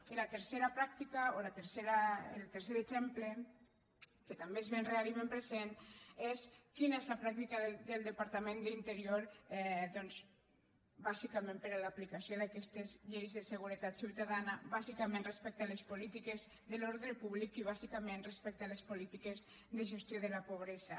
i la tercera pràctica o el tercer exemple que també és ben real i ben present és quina és la pràctica del departament d’interior doncs bàsicament per a l’aplicació d’aquestes lleis de seguretat ciutadana bàsicament respecte a les polítiques de l’ordre públic i bàsicament respecte a les polítiques de gestió de la pobresa